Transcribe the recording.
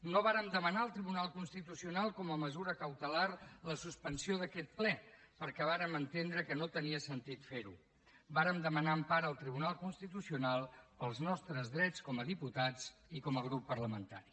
no vàrem demanar al tribunal constitucional com a mesura cautelar la suspensió d’aquest ple perquè vàrem entendre que no tenia sentit fer ho vàrem demanar empara al tribunal constitucional pels nostres drets com a diputats i com a grup parlamentari